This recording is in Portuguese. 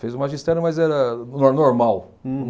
Fez o magistério, mas era no normal.